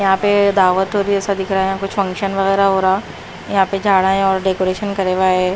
यहां पे दावत हो रही ऐसा दिख रहा है कुछ फंक्शन वगैरह हो रहा यहां पे जाड़ा है और डेकोरेशन करे है।